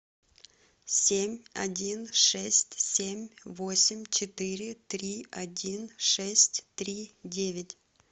семь один шесть семь восемь четыре три один шесть три девять